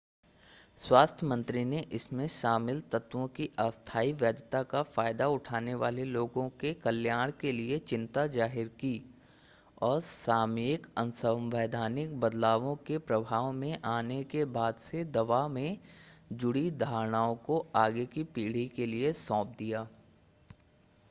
स्वास्थ्य मंत्री ने इसमें शामिल तत्वों की अस्थाई वैधता का फ़ायदा उठाने वाले लोगों के कल्याण के लिए चिंता ज़ाहिर की और सामयिक असंवैधानिक बदलावों के प्रभाव में आने के बाद से दवा से जुड़ी धारणाओं को आगे की पीढ़ी के लिए सौंप दिया